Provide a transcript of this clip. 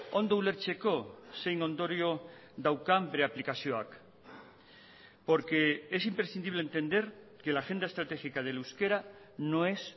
ondo ulertzeko zein ondorio daukan bere aplikazioak porque es imprescindible entender que la agenda estratégica del euskera no es